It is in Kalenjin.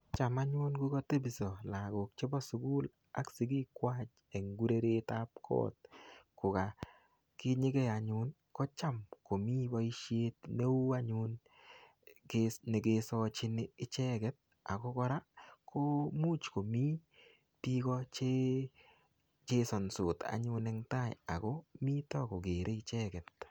Cham anyun ngokatebiso lagok chebo sukul ak sigik kwai eng urerietab kot, kokakinyigei anyun, kocham komii boisiet neuu anyun, ke-nekesachin icheket. Ako kora, komuch komii biiko che chesansot anyun eng tai. Ako nitok, kokere icheket.